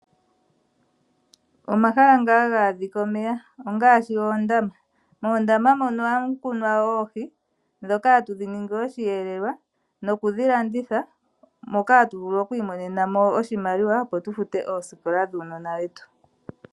Omahala nga haga adhika omeya ongaashi oondama. Moondama ohamu kunwa oohi, ndhoka hatu dhi ningi oshiyelelwa nokudhi landitha moka hatu vulu okwiigamena iimaliwa opo tufute oosikola dhuunona wetu.